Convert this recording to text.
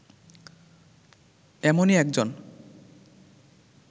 এমনই একজন